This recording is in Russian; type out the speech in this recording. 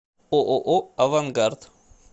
ооо авангард